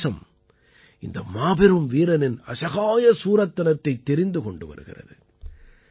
இன்று தேசம் இந்த மாபெரும் வீரனின் அசகாய சூரத்தனத்தைத் தெரிந்து கொண்டு வருகிறது